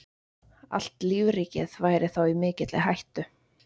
Allt lífríkið væri þá í mikilli hættu.